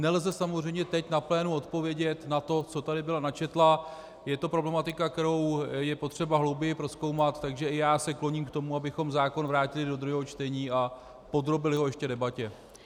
Nelze samozřejmě teď na plénu odpovědět na to, co tady byla načetla, je to problematika, kterou je potřeba hlouběji prozkoumat, takže i já se kloním k tomu, abychom zákon vrátili do druhého čtení a podrobili ho ještě debatě.